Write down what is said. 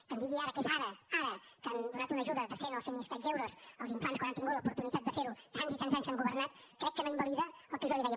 que em digui ara que és ara ara que han donat una ajuda de cent o cent i escaig euros als infants quan han tingut l’oportunitat de fer ho tants i tants anys que han governat crec que no invalida el que jo li deia